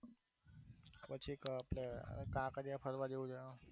પછી તો આપડે કાંકરિયા ફરવા જેવું છે